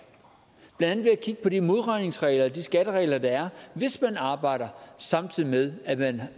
blandt at kigge på de modregningsregler og de skatteregler der er hvis man arbejder samtidig med at man